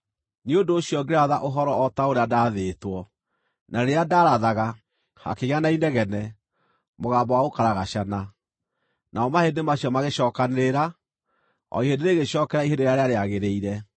Nĩ ũndũ ũcio ngĩratha ũhoro o ta ũrĩa ndaathĩtwo. Na rĩrĩa ndaarathaga, hakĩgĩa na inegene, mũgambo wa gũkaragacana, namo mahĩndĩ macio magĩcookanĩrĩra, o ihĩndĩ rĩgĩcookerera ihĩndĩ rĩrĩa rĩagĩrĩire.